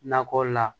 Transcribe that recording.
Nakɔ la